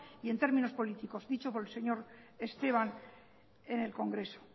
y en términos políticos dicho por el señor esteban en el congreso